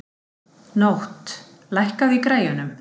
Nótt, lækkaðu í græjunum.